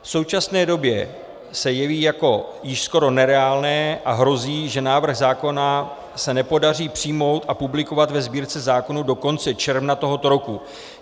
V současné době se jeví jako již skoro nereálné a hrozí, že návrh zákona se nepodaří přijmout a publikovat ve Sbírce zákonů do konce června tohoto roku.